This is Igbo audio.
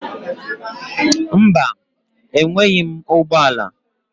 Mba, enweghị m ụgbọ ala.